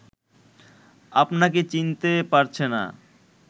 আপনাকে চিনতে পারছে না